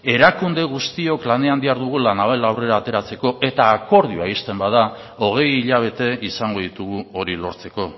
erakunde guztiok lanean dihardugu la naval aurrera ateratzeko eta akordioa ixten bada hogei hilabete izango ditugu hori lortzeko